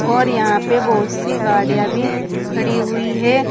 और यहां पे बहुत सी गाड़ियां भी खड़ी हुई है।